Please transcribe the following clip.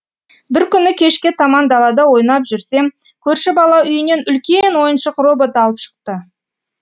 бір күні кешке таман далада ойнап жүрсем көрші бала үйінен үлкен ойыншық робот алып шықты